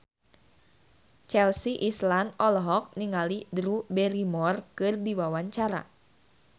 Chelsea Islan olohok ningali Drew Barrymore keur diwawancara